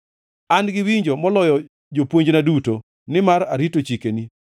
An gi winjo moloyo jopuonjna duto, nimar arito chikeni.